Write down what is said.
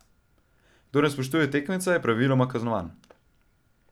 Kdor ne spoštuje tekmeca, je praviloma kaznovan.